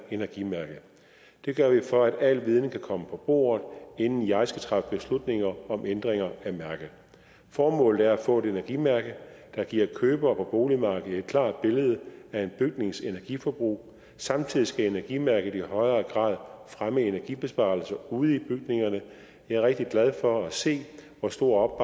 energimærket det gør vi for at al viden kan komme på bordet inden jeg skal træffe beslutninger om ændringer af mærket formålet er at få et energimærke der giver købere på boligmarkedet et klart billede af en bygnings energiforbrug samtidig skal energimærket i højere grad fremme energibesparelser ude i bygningerne jeg er rigtig glad for at se hvor stor